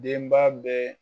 Den ba be